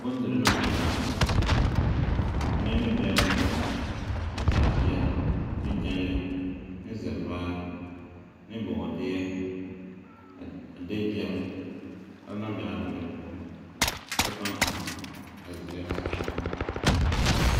Bondiri naŋ be laa poͻ. Muni ne bԑŋԑ, ne taaleԑ, ne gyԑnle, ne zԑvaa, ne bͻͻdeԑ, a a de gyԑl o na la be a dale poͻ a ba paa eŋaa a zeԑre a saazuŋ.